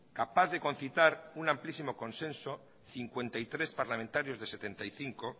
capaz de concitar un amplísimo consenso cincuenta y tres parlamentarios de setenta y cinco